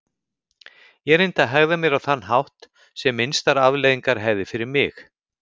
Ég reyndi að hegða mér á þann hátt sem minnstar afleiðingar hefði fyrir mig.